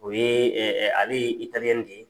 U ye ale de ye.